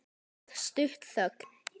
Það varð stutt þögn.